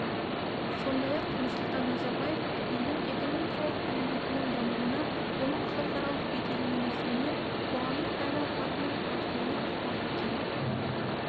сондай-ақ нұрсұлтан назарбаев елдің экономикалық әлеуетінің дамуына оның халықаралық беделінің өсуіне қоғамның әл-ауқатының артуына ықпал еткен